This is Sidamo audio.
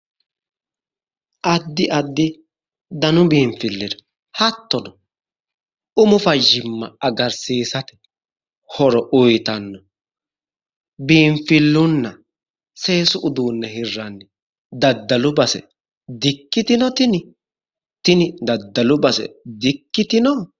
Addi addi danu biinfiillira hattono umu fayyimma agarsiisate horo uyitano biinfillunna seesu uduunne hirranni daddalu base dikkitino tini? Tini daddalu base dikkitino?